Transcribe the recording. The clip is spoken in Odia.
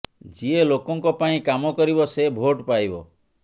ଯିଏ ଲୋକଙ୍କ ପାଇଁ କାମ କରିବ ସେ ଭୋଟ୍ ପାଇବ